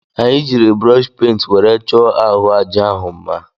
Anyị jiri brọshi pent were chọọ ahụ aja ahụ mma.